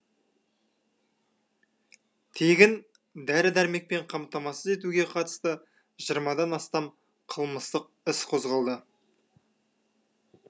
тегін дәрі дәрмекпен қамтамасыз етуге қатысты жиырмадан астам қылмыстық іс қозғалды